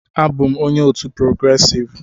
Abụ m onye otu "progressive"